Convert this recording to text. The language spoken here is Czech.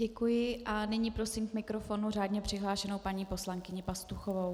Děkuji a nyní prosím k mikrofonu řádně přihlášenou paní poslankyni Pastuchovou.